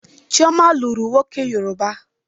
Chioma lụrụ nwoke Yoruba.